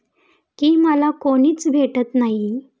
की मला कुणीच भेटत नाही.